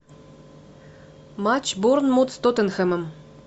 матч борнмут с тоттенхэмом